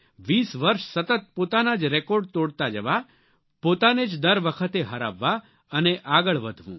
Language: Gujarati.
વીસ વર્ષ સતત પોતાના જ રેકોર્ડ તોડતા જવા પોતાને જ દર વખતે હરાવવા અને આગળ વધવું